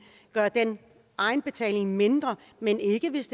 gør egenbetalingen mindre men ikke hvis